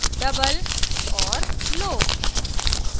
double double और low low